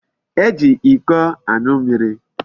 E ji Iko anu mmiri